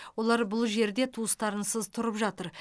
олар бұл жерде туыстарынсыз тұрып жатыр